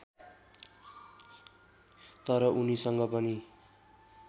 तर उनीसँग पनि